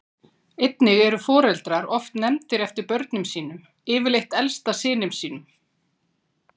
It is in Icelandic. Einnig eru foreldrar oft nefndir eftir börnum sínum, yfirleitt elsta syninum.